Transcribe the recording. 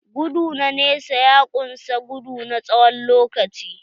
Gudu na nesa ya kunsa gudu na tsawon lokaci.